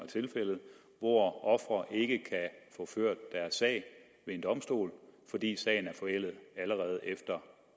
tilfældet hvor ofre ikke kan få ført deres sag ved en domstol fordi sagen er forældet allerede efter